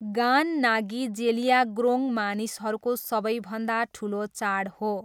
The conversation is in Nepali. गान नागी जेलियाग्रोङ मानिसहरूको सबैभन्दा ठुलो चाड हो।